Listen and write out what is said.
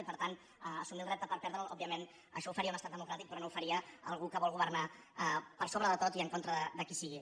i per tant assumir el repte per perdre’l òbviament això ho faria un estat democràtic però no ho faria algú que vol governar per sobre de tot i en contra de qui sigui